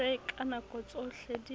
se ka nako tsohle di